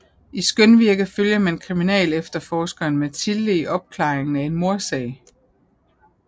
I Skønvirke følger man kriminalefterforskeren Mathilde i opklaringen af en mordsag